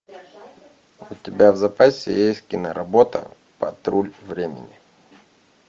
у тебя в запасе есть киноработа патруль времени